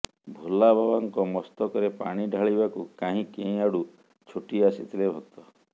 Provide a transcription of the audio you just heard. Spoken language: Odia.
ଭୋଲା ବାବାଙ୍କ ମସ୍ତକରେ ପାଣି ଢାଳିବାକୁ କାହିଁ କେଉଁଆଡୁ ଛୁଟି ଆସିଥିଲେ ଭକ୍ତ